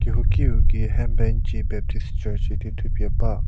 kehouki u gei henbenji baptist church idi thupie ba.